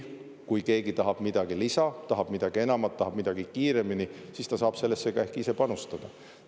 Kui keegi tahab midagi lisaks, tahab midagi enamat, tahab midagi kiiremini, siis ta saab sellesse ka ehk ise panustada.